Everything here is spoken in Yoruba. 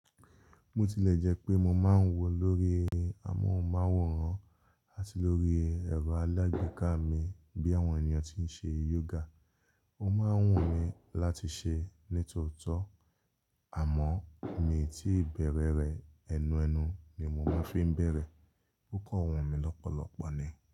Bo tilẹ̀ jẹ́ pé mo máa ń wò lórí amóhùnmáwòrán àti lórí ẹ̀rọ alágbèéká mi bí àwọn ènìyàn tí ń ṣe yoga. Ó máa ń wù mí láti ṣe ní tòótọ́ àmọ́ mi tí ìbẹ̀rẹ̀ rẹ̀ ẹnuẹnu ni mo máa fi ń bẹ̀rẹ̀. Ó kàn wù mí lọ́pọ̀lọpọ̀ ni.